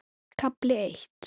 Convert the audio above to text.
KAFLI EITT